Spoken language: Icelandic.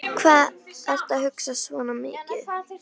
Hvað ertu að hugsa svona mikið?